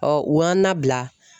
u y'an nabila